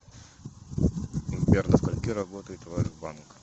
сбер до скольки работает ваш банк